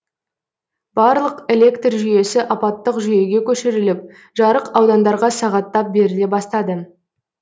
барлық электр жүйесі апаттық жүйеге көшіріліп жарық аудандарға сағаттап беріле бастады